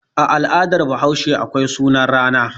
A al'adar Bahaushe akwai sunan rana.